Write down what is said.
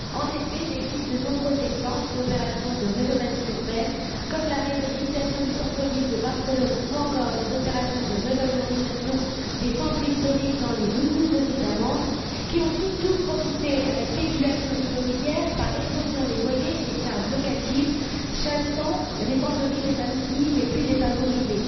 En effet, il existe de nombreux exemples d'opérations de rénovation urbaine, comme la réhabilitation du centre ville de Barcelone ou encore les opérations de revalorisation des centres historiques dans les nouveaux États membres, qui ont surtout profité à la spéculation immobilière par l'explosion des loyers et des charges locatives, chassant du centre des villes les familles les plus défavorisées.